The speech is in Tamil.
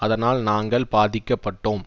அதனால் நாங்கள் பாதிக்கப்பட்டோம்